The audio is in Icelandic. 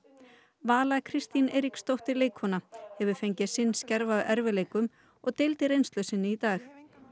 Vala Kristín Eiríksdóttir leikkona hefur fengið sinn skerf af erfiðleikum og deildi reynslu sinni í dag